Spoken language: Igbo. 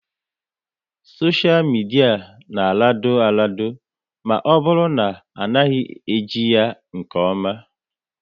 Soshia midia na arado arado ma ọ bụrụ na ị naghị eji ya nke oma